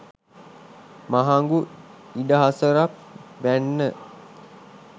මහඟු ඉඩහසරක් වැන්න.